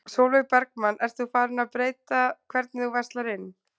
Sólveig Bergmann: Ert þú farin að breyta hvernig þú verslar inn?